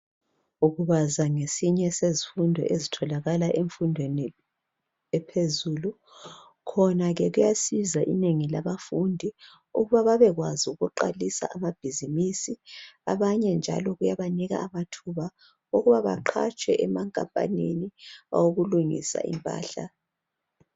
Ukubaza ngesinye sezifundo ezitholakala emfundweni ephezulu khona ke kuyasiza inengi labafundi ukuba babekwazi ukuqalisa amabhizimisi abanye njalo kuyabanika amathuba okuba baqhatshwe emakhampanini awokulungisa impahla.